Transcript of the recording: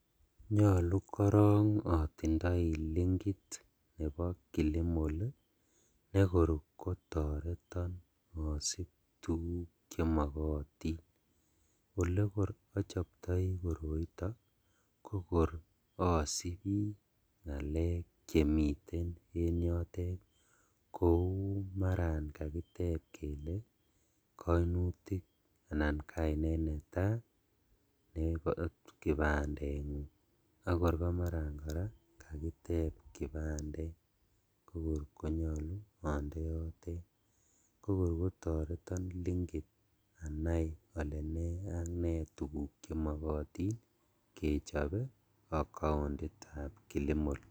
Nyolu korong otindoi linkit nebo kilimal ii nekor kotoreton osib tuguk chemokotin okekor ochoptoi koroito kokor osibi ngalek chemiten en yotet kou maran kakitep kele koinutik anan kainet netaa en kipandengung akor komaran koraa kakitep kipandet kokor konyolu onde yotet kokor kotoreton linkit anai ole nee ak nee tuguk chemokotin kechobe accounitab kilimal.